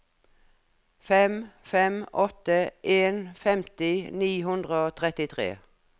fem fem åtte en femti ni hundre og trettitre